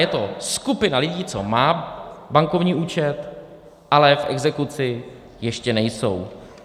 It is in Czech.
je to skupina lidí, co má bankovní účet, ale v exekuci ještě nejsou.